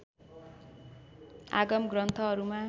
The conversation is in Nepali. आगम ग्रन्थहरूमा